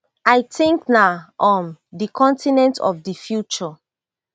i tink na um di continent of di future